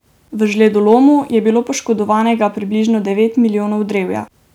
V žledolomu je bilo poškodovanega približno devet milijonov drevja.